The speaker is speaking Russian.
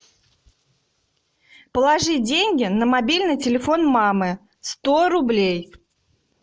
положи деньги на мобильный телефон мамы сто рублей